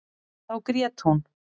Þá grét hún.